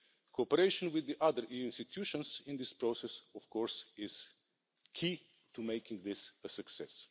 Cooperation with the other institutions in this process, of course, is key to making this a success.